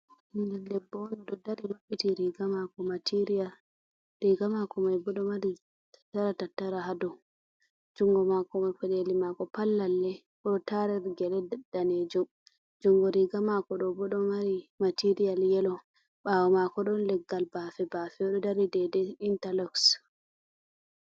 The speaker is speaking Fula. Ɓingel debbo'on ɗon dari mabɓiti riga mako material, riga mako mai bo ɗon Mari dara tattara ha dou, jungo mako mai peɗeli mako mai pat lalle, oɗo tariri gele danejum, jungo riga mako ɗobo don Mari material yelo, ɓawo mako don leggal bafe bafe oɗo dari dedei intaloks.